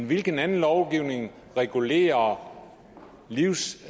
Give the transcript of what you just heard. hvilken anden lovgivning der regulerer livsstils